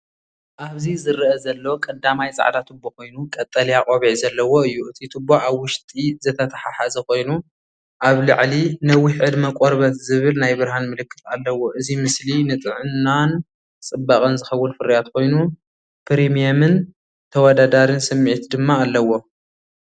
ኣብዚዝርአ ዘሎ ቀዳማይ ጻዕዳ ቱቦ ኮይኑ ቀጠልያ ቆቢዕ ዘለዎ እዩ። እቲ ቱቦ ኣብ ውሽጢ ዝተተሓሓዘ ኮይኑ፡ኣብ ላዕሊ "ነዊሕ ዕድመ ቆርበት" ዝብል ናይ ብርሃን ምልክት ኣለዎ። እዚ ምስሊ ንጥዕናን ጽባቐን ዝኸውን ፍርያት ኮይኑ፡ፕሪምየምን ተወዳዳሪን ስምዒት ድማ ኣለዎ።